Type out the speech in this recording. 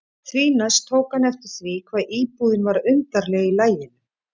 Því næst tók hann eftir því hvað íbúðin var undarleg í laginu.